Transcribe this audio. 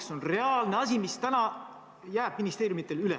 See on reaalne asi, mis täna jääb ministeeriumidel üle.